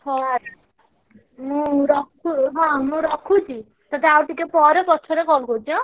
ହଉ ହଉ ମୁଁ ରଖୁ~ହଁ ମୁଁ ରଖୁଛି ତତେ ଆଉଟିକେ ପରେ ପଛରେ call କରୁଛି ହାଁ।